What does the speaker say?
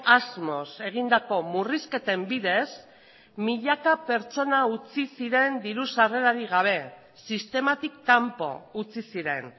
asmoz egindako murrizketen bidez milaka pertsona utzi ziren diru sarrerarik gabe sistematik kanpo utzi ziren